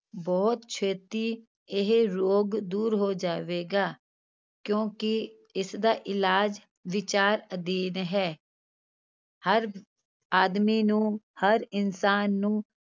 ਬਹੁਤ ਛੇਤੀ ਇਹ ਰੋਗ ਦੂਰ ਹੋ ਜਾਵੇਗਾ, ਕਿਉਂਕਿ ਇਸਦਾ ਇਲਾਜ਼ ਵਿਚਾਰ ਅਧੀਨ ਹੈ ਹਰ ਆਦਮੀ ਨੂੰ, ਹਰ ਇਨਸਾਨ ਨੂੂੰ